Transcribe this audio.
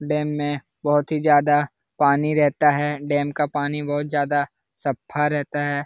Dam मे बहुत ही ज्यादा पानी रहता है डेम का पानी बहुत ज्यादा सफा रहता है।